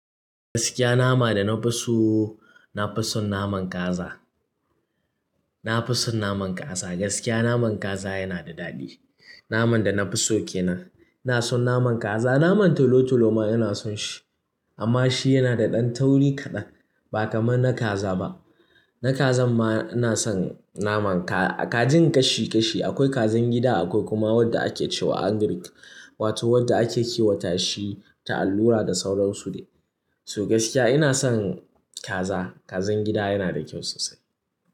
Gaskiya nama da na fi so na fi son naman kaza. Na fi son naman kaza. Gaskiya naman kaza yana da daɗi. Naman da na fi so ke nan. Ina son naman kaza, naman tolo-tolo ma ina son shi amma shi yana da ɗan tauri kaɗan ba kamar na kaza ba. Na kazan ma ina son naman ka-kajin ƙashi ƙashi. Akwai kazan gida akwai kuma wanda ake cewa angrik wato wanda ake kiwata shi ta allura da sauran su ne. To gaskiya ina son kaza. Kazan gida yana da kyau sosai.